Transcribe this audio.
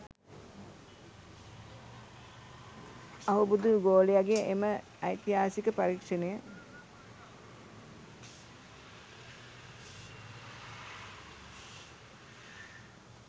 අහුබුදු ගෝලයගෙ එම ඓතිහාසික පරීක්ෂණය